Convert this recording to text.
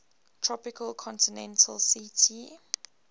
tropical continental ct